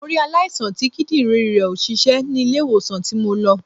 Mo rí aláìsàn tí Kídìrín rẹ̀ ò ṣiṣẹ́ ni ilé ìwòsàn tí mo lọ